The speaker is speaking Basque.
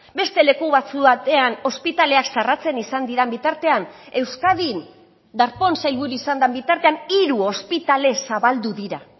beste leku batzuk batean ospitaleak zarratzen izan diren bitartean euskadin darpón sailburu izan den bitartean hiru ospitale zabaldu dira